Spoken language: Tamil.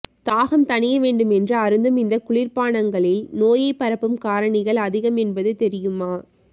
தாகம் தணிய வேண்டும் என்று அருந்தும் இந்த குளிர்பானங்களில் நோயைப் பரப்பும் காரணிகள் அதிகம் என்பது தெரியுமா